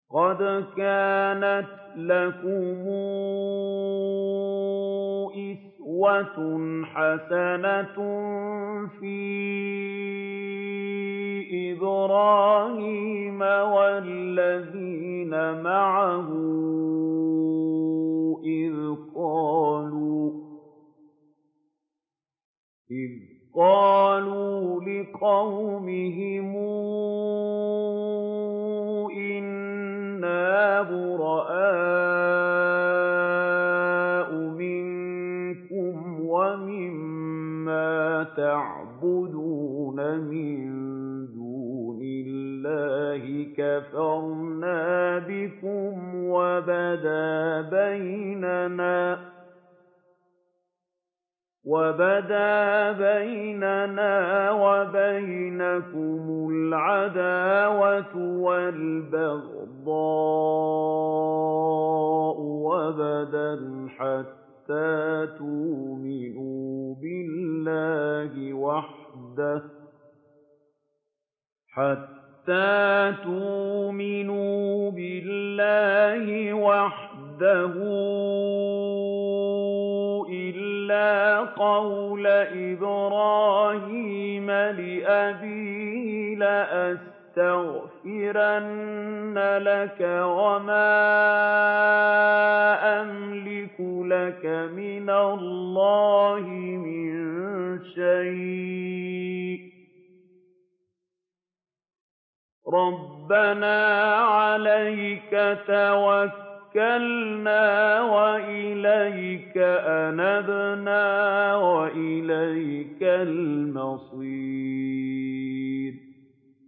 قَدْ كَانَتْ لَكُمْ أُسْوَةٌ حَسَنَةٌ فِي إِبْرَاهِيمَ وَالَّذِينَ مَعَهُ إِذْ قَالُوا لِقَوْمِهِمْ إِنَّا بُرَآءُ مِنكُمْ وَمِمَّا تَعْبُدُونَ مِن دُونِ اللَّهِ كَفَرْنَا بِكُمْ وَبَدَا بَيْنَنَا وَبَيْنَكُمُ الْعَدَاوَةُ وَالْبَغْضَاءُ أَبَدًا حَتَّىٰ تُؤْمِنُوا بِاللَّهِ وَحْدَهُ إِلَّا قَوْلَ إِبْرَاهِيمَ لِأَبِيهِ لَأَسْتَغْفِرَنَّ لَكَ وَمَا أَمْلِكُ لَكَ مِنَ اللَّهِ مِن شَيْءٍ ۖ رَّبَّنَا عَلَيْكَ تَوَكَّلْنَا وَإِلَيْكَ أَنَبْنَا وَإِلَيْكَ الْمَصِيرُ